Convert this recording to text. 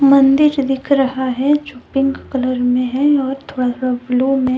मंदिर दिख रहा हैं जो पिंक कलर में है और थोड़ा सा ब्लू में।